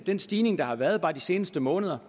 den stigning der har været bare de seneste måneder